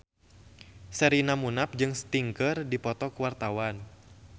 Sherina Munaf jeung Sting keur dipoto ku wartawan